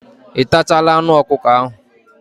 Ị tachala anụ ọkụkọ ahụ?